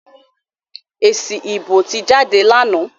Èsì ìbò ti jáde lánàá.